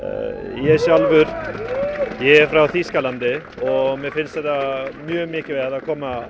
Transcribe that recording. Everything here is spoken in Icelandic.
ég er frá Þýskalandi mér finnst mjög mikilvægt að koma